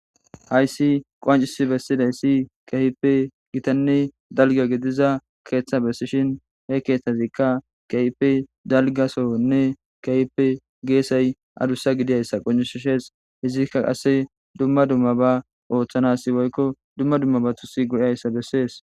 hayssi qoancisi bessidayssi kahippe gitanne dalga gidiza keeththa bessishin he keeththazikka kayipe dalgasonne kayppe geesay adussa gidiyayssa qonishshees hizikka qasse dumma dumma ba ooththanasi woykko dumma dumma ba tusi godayssa bessees